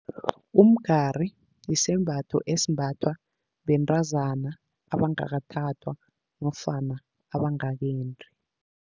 Umgari yisembatho esimbathwa bentazana abangakathathwa nofana abangakendi.